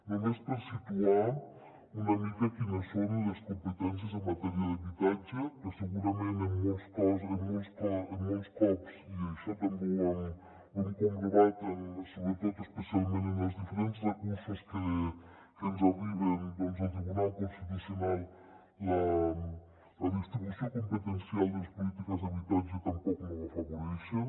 només per situar una mica quines són les competències en matèria d’habitatge que segurament molts cops i això també ho hem comprovat sobretot especialment en els diferents recursos que ens arriben del tribunal constitucional la distribució competencial de les polítiques d’habitatge tampoc no ho afavoreixen